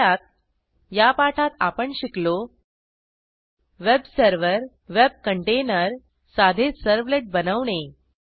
थोडक्यात या पाठात आपण शिकलो वेब सर्व्हर वेब कंटेनर साधे सर्व्हलेट बनवणे